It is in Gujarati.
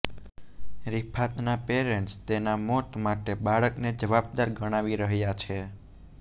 રિફાતના પેરન્ટસ તેના મોત માટે બાળકને જવાબદાર ગણાવી રહ્યા છે